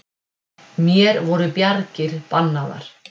Mér voru bjargir bannaðar.